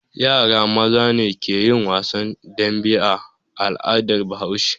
Yara maza ne ke yin wasan dambe a al'adar Bahaushe.